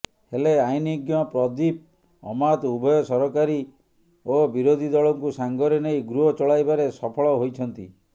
ହେଲେ ଆଇନଜ୍ଞ ପ୍ରଦୀପ ଅମାତ ଉଭୟ ସରକାରୀ ଓ ବିରୋଧିଦଳଙ୍କୁ ସାଙ୍ଗରେ ନେଇ ଗୃହ ଚଳାଇବାରେ ସଫଳ ହୋଇଛନ୍ତି